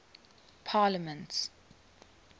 parliaments